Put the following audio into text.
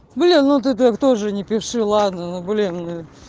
блин ну ты так тоже не пиши ладно ну блин